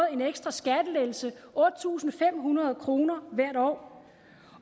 en ekstra skattelettelse otte tusind fem hundrede kroner hvert år